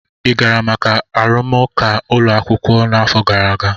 ị gara maka arụmụka ụlọ akwụkwọ n'afọ gara aga?